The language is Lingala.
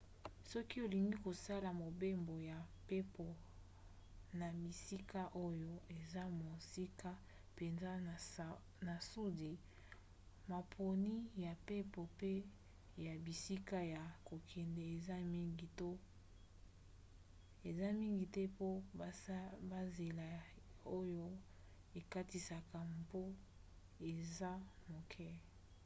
soki olingi kosala mobembo ya mpepo na bisika oyo eza mosika mpenza na sudi maponi ya mpepo mpe ya bisika ya kokende eza mingi te po banzela oyo ekatisaka mbu eza moke